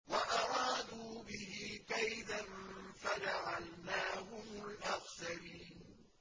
وَأَرَادُوا بِهِ كَيْدًا فَجَعَلْنَاهُمُ الْأَخْسَرِينَ